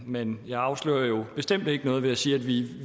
men jeg afslører jo bestemt ikke noget ved at sige at vi